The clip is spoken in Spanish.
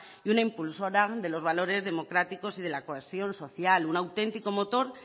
y una impulsora de los valores democráticos y de la cohesión social un autentico motor